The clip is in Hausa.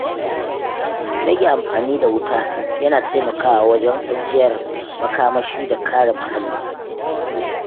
Rage amfani da wuta yana taimakawa wajen ajiyar makamashi da kare muhalli.